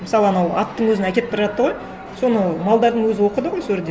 мысалы анау аттың өзін әкетіп бара жатты ғой соны малдардың өзі оқыды ғой сол жерде